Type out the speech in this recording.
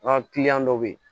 An ka dɔ bɛ yen